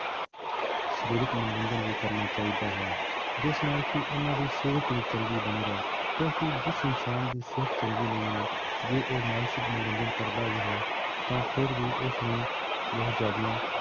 ਸਰੀਰਕ ਮਨੋਰੰਜਨ ਵੀ ਕਰਨਾ ਚਾਹੀਦਾ ਹੈ, ਜਿਸ ਨਾਲ ਕਿ ਉਹਨਾਂ ਦੀ ਸਿਹਤ ਵੀ ਚੰਗੀ ਬਣੀ ਰਹੇ ਕਿਉਂਕਿ ਜਿਸ ਇਨਸਾਨ ਦੀ ਸਿਹਤ ਚੰਗੀ ਨਹੀਂ ਹੈ, ਜੇ ਉਹ ਮਾਨਸਿਕ ਮਨੋਰੰਜਨ ਕਰਦਾ ਵੀ ਹੈ ਤਾਂ ਫਿਰ ਵੀ ਉਸਨੂੰ ਬਹੁਤ ਜ਼ਿਆਦਾ